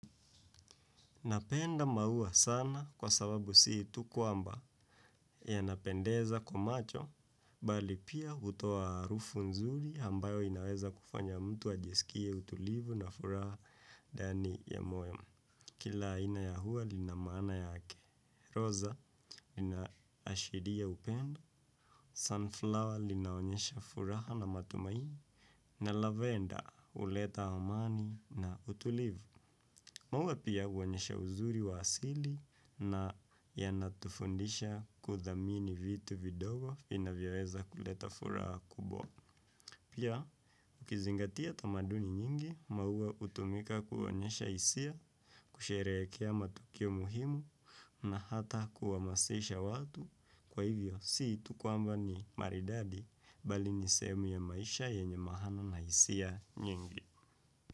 Napenda maua sana kwa sababu sii tu kwamba yanapendeza kwa macho, bali pia hutoa harufu nzuri ambayo inaweza kufanya mtu ajisikie utulivu na furaha ndani ya moyo. Kila ina ya ua lina maana yake, roza lina ashiria upendo, sunflower linaonyesha furaha na matumaini, na lavender huleta hamani na utulivu. Maua pia huonyesha uzuri wa asili na yanatufundisha kuthamini vitu vidogo vinavyoweza kuleta furaha kubwa. Pia ukizingatia tamaduni nyingi, maua hutumika kuonyesha hisia, kusherehekea matukio muhimu na hata kuhamasisha watu. Kwa hivyo, si tu kwamba ni maridadi bali ni sehemu ya maisha yenye maana na hisia nyingi.